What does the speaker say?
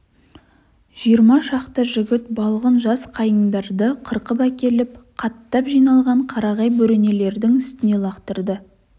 жиырма шақты жігіт балғын жас қайыңдарды қырқып әкеліп қаттап жиналған қарағай бөренелердің үстіне лақтырды